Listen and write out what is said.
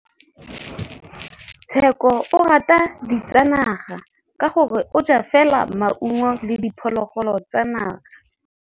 Tshekô o rata ditsanaga ka gore o ja fela maungo le diphologolo tsa naga.